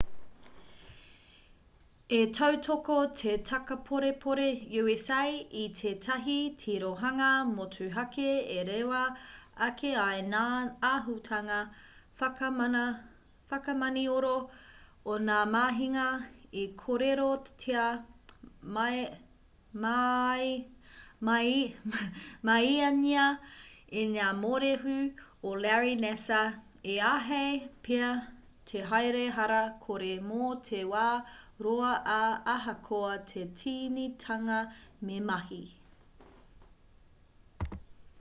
ka tautoko te takaporepore usa i tētahi tirohanga motuhake e rewa ake ai ngā āhutanga whakamanioro o ngā mahinga i kōrerotia māiangia e ngā mōrehu o larry nassar i āhei pea te haere hara kore mō te wā roa ā ahakoa te tīnitanga me mahi